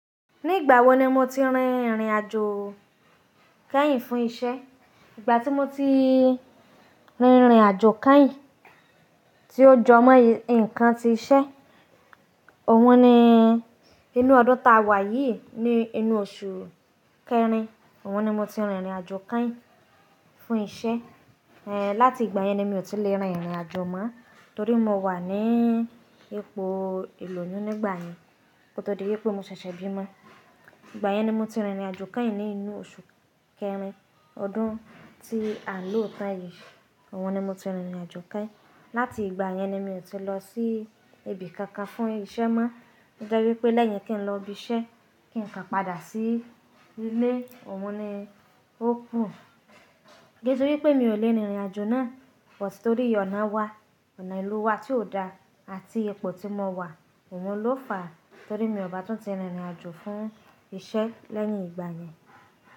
Ní ìgbà wo ni mo ti rìn irìn àjò keyìn fún isẹ́? Ìgbà tí mo ti rìnrìn àjò kányìn tí ó jọ mọ́ nǹkan tí iṣẹ́, òun ni inú ọdún ta wà yìí ní inú oṣù kẹrin. Òun ni mo ti rìnrìn àjò kányìn fún isẹ́. Láti ìgbà yẹn ni mi ò ti lè rìnrìn àjò mọ́, torí mo wà ní ipò ìlòyún nígbà yẹn. Ko tó dé pé mo ṣẹ̀ṣẹ̀ bímọ. Ìgbà yẹn ni mo ti rìnrìn àjò kányìn ní inú oṣù kẹrin ọdún tí ànló tán yìí. Òun ni mo ti rìnrìn àjò kányìn. Láti ìgbà yẹn ni mi ò ti lọ sí ibi kankan fún isẹ́ mọ́. To je wí pé lẹ́yìn kí n lọ ibi iṣẹ́, kí n kà padà sí ilé, òun ni ó kù. Kise wí pé mi ò lè rìnrìn àjò náà, but torí ọ̀nà wa, ọ̀nà ìlú wa tí ò da àti ipò tí mo wà. Òun ló fà á torí mi ò bá tún ti rìnrìn àjò fún isẹ́ lẹ́yìn ìgbà yẹn.